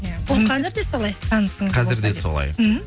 ол қазір де солай қазір де солай мхм